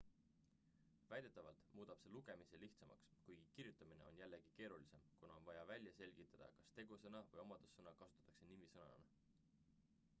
väidetavalt muudab see lugemise lihtsamaks kuigi kirjutamine on jällegi keerulisem kuna on vaja välja selgitada kas tegusõna või omadussõna kasutatakse nimisõnana